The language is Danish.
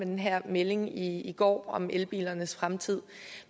den her melding i går om elbilernes fremtid